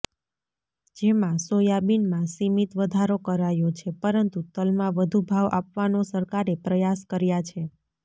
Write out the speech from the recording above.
જેમાં સોયાબીનમાં સિમિત વધારો કરાયો છે પરંતુ તલમાં વધુ ભાવ આપવાનો સરકારે પ્રયાસ કર્યા છે